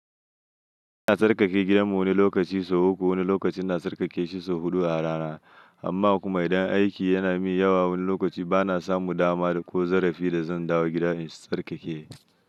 Ina tsarkake gidanmu wani lokaci sau uku, wani lokaci na tsarkake shida sau huɗu a rana. Amma kuma idan aiki yanamun yawa wani lokaci bana samun dama ko zarafi dazan dawo gida in tsarkake.